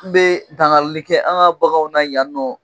N bɛ tangali kɛ an ka bagan na yan nɔ.